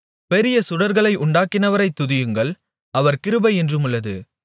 பெரிய சுடர்களை உண்டாக்கினவரைத் துதியுங்கள் அவர் கிருபை என்றுமுள்ளது